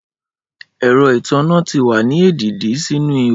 Ẹrọ itanna ti wa ni edidi sinu iho